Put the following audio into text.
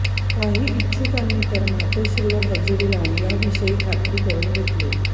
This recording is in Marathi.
काही इच्छुकांनी तर मातोश्रीवर हजेरी लावून याविषयी खात्री करून घेतली